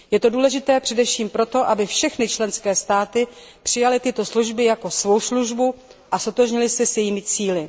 Je to důležité především proto, aby všechny členské státy přijaly tuto službu jako svou službu a ztotožnily se s jejími cíli.